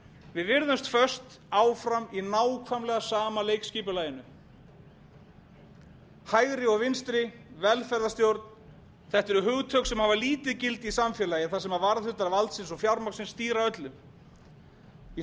við virðumst föst áfram í nákvæmlega sama leikskipulaginu hægri og vinstri velferðarstjórn þetta eru hugtök sem hafa hafa lítið gildi í samfélagi þar sem varðhundar valdsins og fjármagnsins stýra öllu í